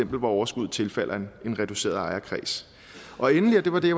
hvor overskuddet tilfalder en reduceret ejerkreds endelig og det var det